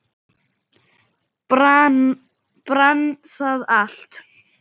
Brann það allt?